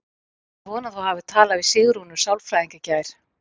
Ég vona að þú hafir talað við Sigrúnu sálfræðing í gær.